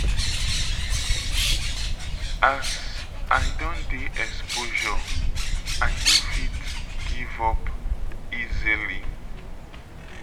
as i don dey exposure i no fit give up easily.